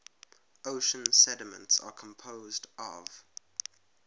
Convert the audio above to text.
ocean sediments are composed of